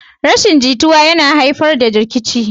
Rashin jituwa yana haifar da rikici